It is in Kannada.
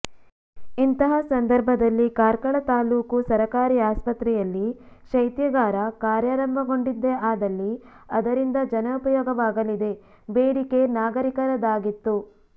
ಇಂತಹ ಸಂದರ್ಭದಲ್ಲಿ ಕಾರ್ಕಳ ತಾಲೂಕು ಸರಕಾರಿ ಆಸ್ಪತ್ರೆಯಲ್ಲಿ ಶೈತ್ಯಾಗಾರ ಕಾರ್ಯರಂಭಗೊಂಡಿದ್ದೇ ಆದ್ದಲ್ಲಿ ಅದರಿಂದ ಜನಪಯೋಗವಾಗಲಿದೆ ಬೇಡಿಕೆ ನಾಗರಿಕರದಾಗಿತ್ತು